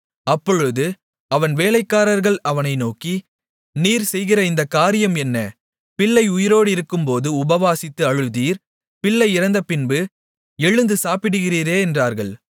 அப்பொழுது அவன் வேலைக்காரர்கள் அவனை நோக்கி நீர் செய்கிற இந்தக் காரியம் என்ன பிள்ளை உயிரோடிருக்கும்போது உபவாசித்து அழுதீர் பிள்ளை இறந்தபின்பு எழுந்து சாப்பிடுகிறீரே என்றார்கள்